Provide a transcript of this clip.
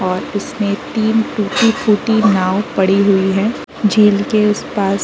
और इसमें तीन टूटी फूटी नांव पड़ी हुई है झील के उस-पास ।